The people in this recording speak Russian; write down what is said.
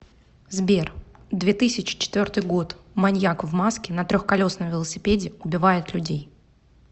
сбер две тысячи четвертый год маньяк в маске на трехколесном велосипеде убивает людей